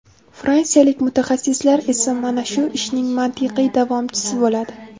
Fransiyalik mutaxassislar esa mana shu ishning mantiqiy davomchisi bo‘ladi.